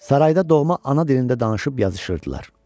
Sarayda doğma ana dilində danışıb yazışırdılar.